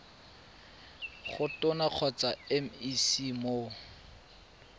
go tona kgotsa mec mo